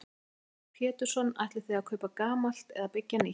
Heimir Már Pétursson: Ætlið þið að kaupa gamalt eða byggja nýtt?